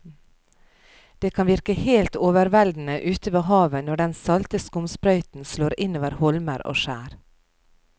Det kan virke helt overveldende ute ved havet når den salte skumsprøyten slår innover holmer og skjær.